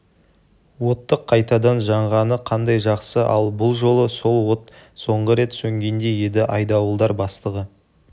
оттық қайтадан жанғаны қандай жақсы ал бұл жалы сол от соңғы рет сөнгендей еді айдауылдар бастығы